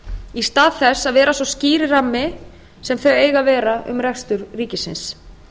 í stað þess að vera sá skýri rammi sem þau eiga að vera um rekstur ríkisins